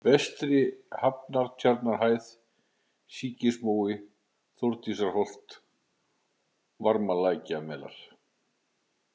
Vestri-Hrafnatjarnarhæð, Síkismói, Þórdísarholt, Varmalækjarmelar